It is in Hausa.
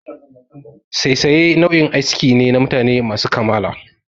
Saisaye nau'in aski ne na mutane masu kamala.